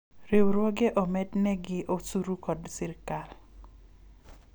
riwruoge omednegi osuru kod sirikal